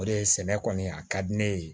O de ye sɛnɛ kɔni a ka di ne ye